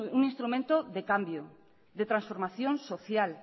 un instrumento de cambio de transformación social